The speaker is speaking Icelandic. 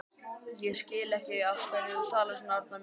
Ég skil ekki af hverju þú talar svona, Arnar minn.